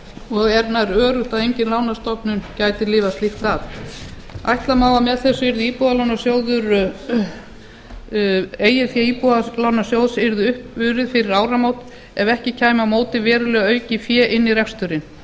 og er nær öruggt að engin lánastofnun gæti lifað slíkt af ætla má að með þessu yrði eigið fé íbúðalánasjóðs uppurið fyrir áramót ef ekki kæmi á móti verulega aukið fé inn í reksturinn